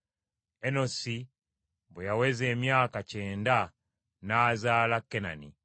Enosi bwe yaweza emyaka kyenda n’azaala Kenani.